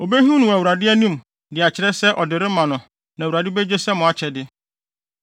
Obehim no wɔ Awurade anim de akyerɛ sɛ ɔde rema no na Awurade begye sɛ mo akyɛde.